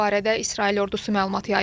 Bu barədə İsrail ordusu məlumat yayıb.